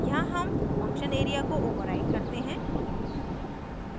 यहाँ हम function area को override करते हैं